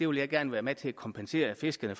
vil gerne være med til at kompensere fiskerne